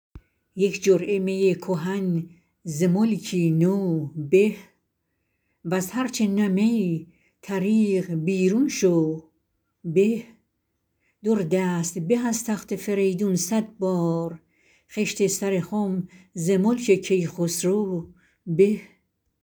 یک جرعه می کهن ز ملکی نو به وز هر چه نه می طریق بیرون شو به در دست به از تخت فریدون صد بار خشت سر خم ز ملک کیخسرو به